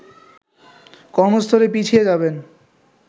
কর্মস্থলে পিছিয়ে যাবেন